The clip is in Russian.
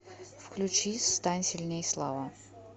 включи стань сильней слава